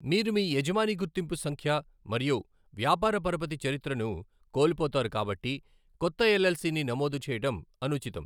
మీరు మీ యజమాని గుర్తింపు సంఖ్య మరియు వ్యాపార పరపతి చరిత్రను కోల్పోతారు కాబట్టి కొత్త ఎల్ఎల్సిని నమోదు చేయడం అనుచితం.